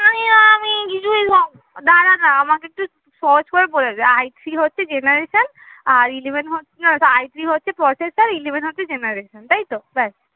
দাঁড়া না আমাকে একটু সহজ করে বলে দে I three হচ্ছে generation আর eleven হচ্ছে না ওটা I three হচ্ছে processor হচ্ছে generation তাই তো? ব্যাস